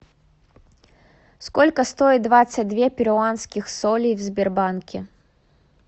сколько стоит двадцать две перуанских солей в сбербанке